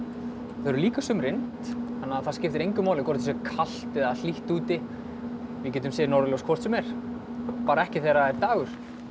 þau eru líka á sumrin það skiptir engu máli hvort það sé kalt eða hlýtt úti við getum séð norðurljós hvort sem er bara ekki þegar er dagur